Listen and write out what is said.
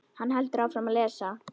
Hann heldur áfram að lesa: